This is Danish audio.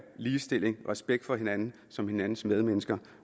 ligestilling respekt for hinanden som hinandens medmennesker